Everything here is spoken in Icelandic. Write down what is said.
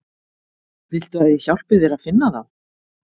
Viltu að ég hjálpi þér að finna þá?